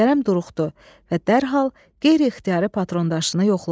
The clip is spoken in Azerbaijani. Kərəm duruxdu və dərhal qeyri-ixtiyari patron daşını yoxladı.